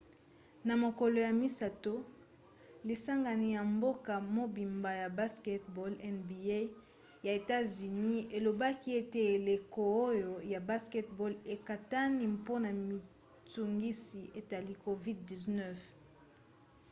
na mokolo ya misato lisangani ya mboka mobimba ya basketball nba ya etats-unis elobaki ete eleko oyo ya basket-ball ekatani mpona mitungisi etali covid-19